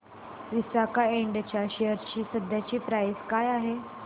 विसाका इंड च्या शेअर ची सध्याची प्राइस काय आहे